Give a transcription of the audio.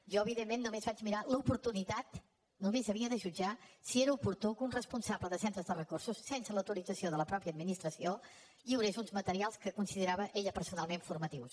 jo evidentment només vaig mirar l’oportunitat només havia de jutjar si era oportú que un responsable de centres de recursos sense l’autorització de la mateixa administració lliurés uns materials que considerava ella personalment formatius